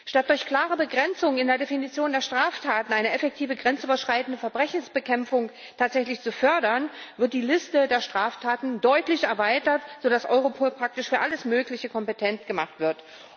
Statt durch klare Begrenzung in der Definition der Straftaten eine effektive grenzüberschreitende Verbrechensbekämpfung tatsächlich zu fördern, wird die Liste der Straftaten deutlich erweitert, sodass Europol praktisch für alles Mögliche kompetent gemacht wird.